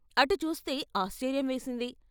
అటు చూస్తే ఆశ్చర్యం వేసింది.